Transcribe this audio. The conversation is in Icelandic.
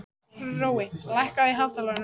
Hrói, lækkaðu í hátalaranum.